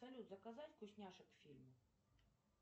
салют заказать вкусняшек к фильму